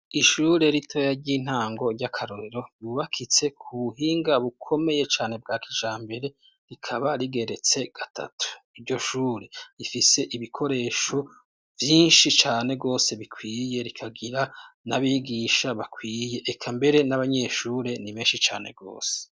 Ishure ritoya ry'intango ry'akarorero ryubakitse ku buhinga bukomeye cane bwa kijambere; rikaba rigeretse gatatu. Iryo shure rifise ibikoresho vyinshi cane gose bikwiye, rikagira n'abigisha bakwiye. Eka mbere n'abanyeshure ni benshi cane rwose.